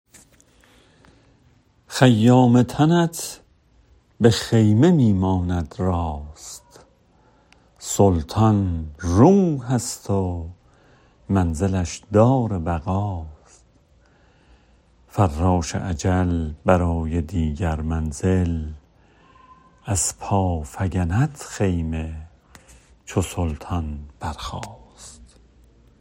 خیام تنت به خیمه می ماند راست سلطان روح ست و منزلش دار بقاست فراش اجل برای دیگر منزل از پا فگند خیمه چو سلطان برخاست